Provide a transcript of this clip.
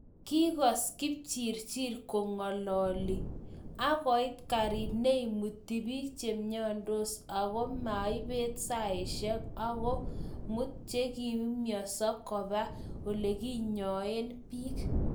kigoos kipchirchir kongololi, agoit karit neimuti biik cheimnyasot ago maibet saishek ago muut chegiaumianso koba oleginyoen biik